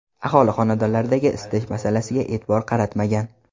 Aholi xonadonlaridagi isitish masalasiga e’tibor qaratmagan.